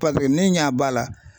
ne ɲɛ b'a la